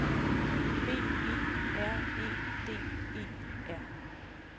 B E R E D E R